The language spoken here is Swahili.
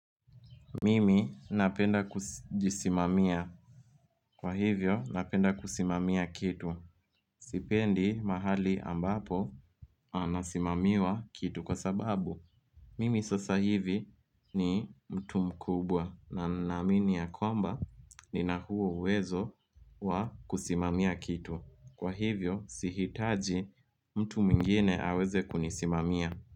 Mimi napenda kujisimamia Kwa hivyo napenda kusimamia kitu Sipendi mahali ambapo anasimamiwa kitu kwa sababu Mimi sasa hivi ni mtu mkubwa na naamini ya kwamba nina huo uwezo wa kusimamia kitu Kwa hivyo sihitaji mtu mwingine aweze kunisimamia.